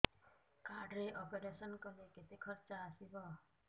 card ରେ operation କଲେ କେତେ ଖର୍ଚ ଆସିବ